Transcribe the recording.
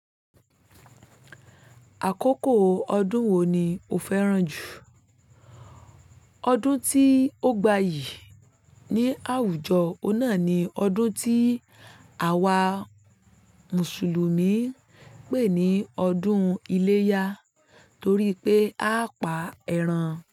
Àkókò ọdún wo ni o fẹ́ràn jù? Ọdún tí ó gbayì ní àwùjọ náà ni ọdún tí àwa Mùsùlùmí pè ní ọdún iléyá torí pé a pa ẹran.